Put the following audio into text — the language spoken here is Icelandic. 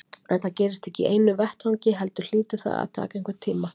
En það gerist ekki í einu vetfangi heldur hlýtur það að taka einhvern tíma.